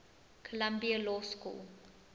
columbia law school